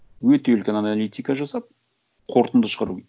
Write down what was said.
өте үлкен аналитика жасап қорытынды шығару